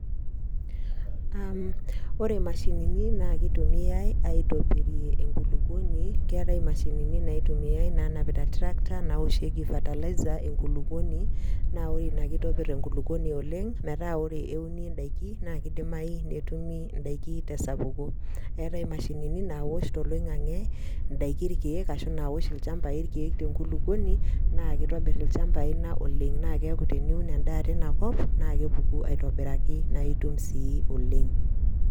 Ore imashinini naa keitumiai aitobirie enkulukuoni, keatai imashinini naitumia naanapita tractor naoshieki fertilizer naoshieki enkulukuoni, naa ore Ina ekeitobir enkulukuoni oleng' metaa ore euni indaiki naake eidimayu netumi indaiki tesapuko. Eatai imashinini naosh toloing'ang'e indaiki ilkeek, ashu indaiki tolchamba ilkeek te enkulukuoni naa keitobir ilchambai Ina oleng'. Na keaku teniun endaa teina kop naa kepuku aitobiraki na itum sii oleng'.